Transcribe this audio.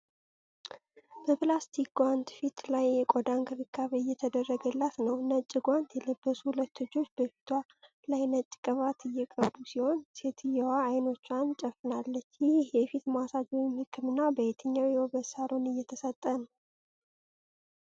በፕላስቲክ ጓንት ፊቷ ላይ የቆዳ እንክብካቤ እየተደረገላት ነው። ነጭ ጓንት የለበሱ ሁለት እጆች በፊቷ ላይ ነጭ ቅባት እየቀቡ ሲሆን፣ ሴትየዋ አይኖቿን ጨፍናለች። ይህ የፊት ማሳጅ ወይም ሕክምና በየትኛው የውበት ሳሎን እየተሰጠ ነው?